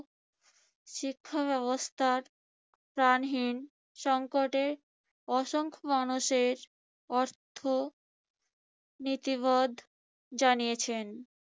শিক্ষা ব্যবস্থা প্রাণহীন সঙ্কটে অসংখ্য মানুষের অর্থ নীতিবোধ জানিয়েছেন।